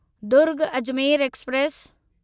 Durg Ajmer express